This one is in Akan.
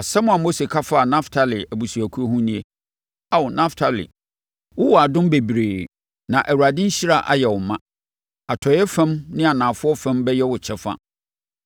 Asɛm a Mose ka faa Naftali abusuakuo ho nie: “Ao Naftali, wowɔ adom bebree na Awurade nhyira ayɛ wo ma; atɔeɛ fam ne anafoɔ fam bɛyɛ wo kyɛfa.”